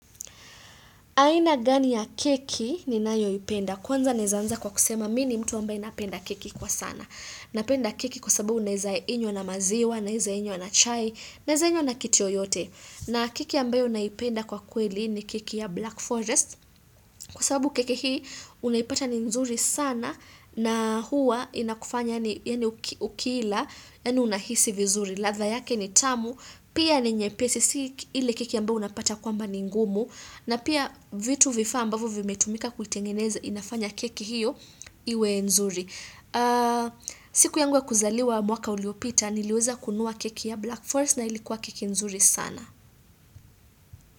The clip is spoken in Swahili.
Aina gani ya keki ninayoipenda. Kwanza naeza anza kwa kusema mi ni mtu ambaye napenda keki kwa sana. Napenda keki kwa sababu unaeza inywa na maziwa, naeza inywa na chai, naeza inywa na kitu yoyote. Na keki ambayo naipenda kwa kweli ni keki ya Black Forest kwa sababu keki hii unaipata ni nzuri sana na hua inakufanya yaani ukila, yaani unahisi vizuri. Ladha yake ni tamu, pia ni nyepesi si ile keki ambayo unapata kwamba ni ngumu na pia vitu vifaa ambavyo vimetumika kutengeneza inafanya keki hiyo iwe nzuri siku yangu ya kuzaliwa mwaka uliopita, niliweza kununua keki ya Black Forest na ilikuwa keki nzuri sana.